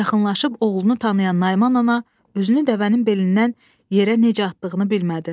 Yaxınlaşıb oğlunu tanıyan Naiman ana özünü dəvənin belindən yerə necə atdığını bilmədi.